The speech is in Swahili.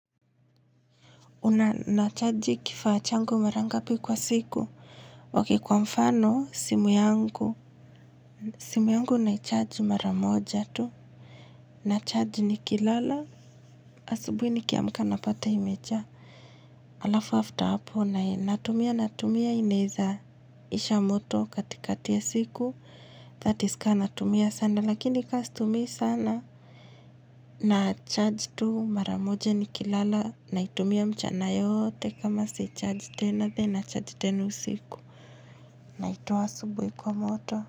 Una na charge kifaa changu mara ngapi kwa siku. Okay kwa mfano simu yangu. Simu yangu naicharge maramoja tu. Na charge nikilala. Asubuhi nikiamka napata imejaa. Alafu after hapo na natumia natumia inawezaisha moto kati kati ya siku. That is kama natumia sana. Lakini kama situmii sana. Na charge tu maramoja ni kilala. Naitumia mchana yote kama si charge tena then nina charge tena siku. Naitoa asubuhi kwa moto.